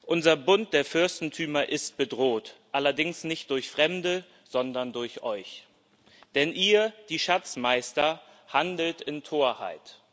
Unser Bund der Fürstentümer ist bedroht, allerdings nicht durch Fremde, sondern durch euch, denn ihr, die Schatzmeister, handelt in Torheit.